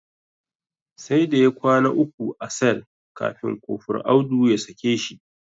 Sai da ya kwana uku a sel kafin Kofur Audu ya sake shi.